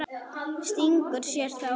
Stingur sér þá.